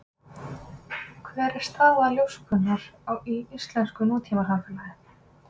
Hver er staða ljóskunnar í íslensku nútímasamfélagi?